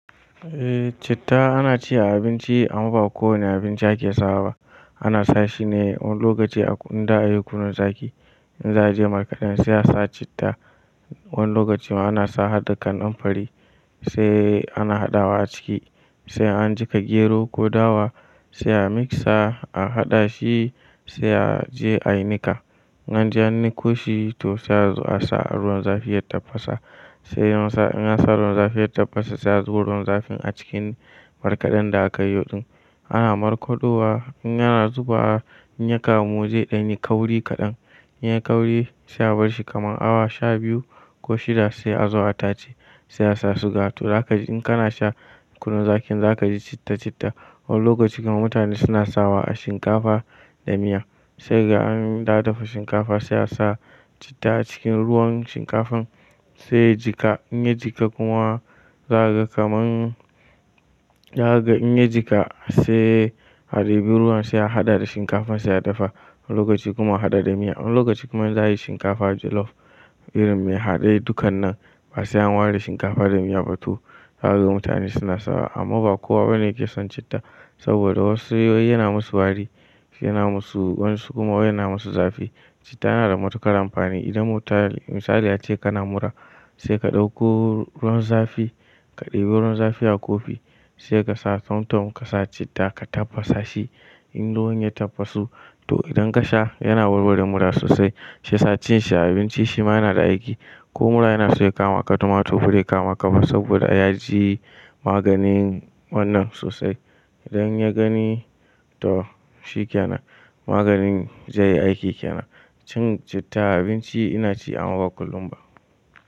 Eh, citta ana ci a abinci amma ba kowane abinci ake sawa ba. Ana sa shi ne wani lokaci inda a yi kunun zaki. In za a je markaɗan sai a sa citta. Wani lokaci ma ana sa hadda kanan fari sai ana haɗawa aciki, sai an jiƙa gero ko dawa sai a miksa, a haɗa shi sai a je a yi nika. In anje ni ko shi to sai a sa ruwan zafi ya tafasa. Sai in an sa ruwan zafi ya tafasa sai a zuba ruwan zafin a cikin markaɗan da aka yi yoɗin. Ana markado wa in yana zuba, in ya kamu zai ɗan yi kauri kaɗan. In ya yi kauri sai a bar shi kamar awa sha biyu ko shida sai a zo a tace sai a sa suga. To za ka ji in kana sha kunun zakin za ka ji citta-citta. Wani lokacin kuma mutane suna sawa a shinkafa da miya. Sai kaga in da'a dafa shinkafa sai a sa citta a cikin ruwan shinkafan sai ya jika. In ya jika kuma za ka gaman, za ka in ya jika sai a ɗebi ruwan sai a haɗa da shinkafan sai ya dafa. Wani lokaci kuma a haɗa da miya. Wani lokaci kuma za a yi shinkafa jollof irin me haɗe dukkan nan ba sai an ware shinkafa da miya ba. To zakaga mutane suna sawa amma ba kowa bane yake son citta saboda wasu wai yana musu wari, yana musu wa'yan su kuma wai yana musu zafi. Citta yana da matuƙar amfani idan mutum misali ace kana mura sai ka ɗauko ruwan zafi, ka ɗebi ruwan zafi a kofi sai ka sa tamtom ka sa citta ka tafasa shi. In ruwan ya tafasu to idan ka sha yana warware mura sosai. Sai sa cin shi abinci shi ma yana da aiki. Ko mura yana so ya kama ka, to mato bare kama ka ba saboda ya ji maganin wannan sosai. Idan ya gani to shi kenan maganin zai yi aiki kena. Cin citta a abinci ina ci amma ba kullum ba.